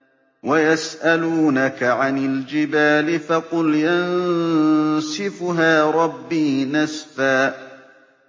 وَيَسْأَلُونَكَ عَنِ الْجِبَالِ فَقُلْ يَنسِفُهَا رَبِّي نَسْفًا